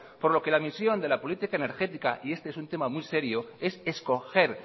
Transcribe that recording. por lo que la misión de la política energética y este es un tema muy serio es escoger